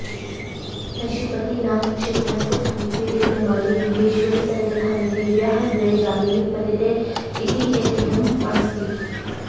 पशुपतिनाथक्षेत्रस्य समीपे विद्यमाने गुहेश्वरीसन्निधाने देव्याः द्वे जानुनी पतिते इति ऐतिह्यम् अस्ति